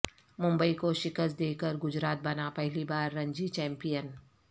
ممبئی کو شکست دے کر گجرات بنا پہلی بار رنجی چمپئن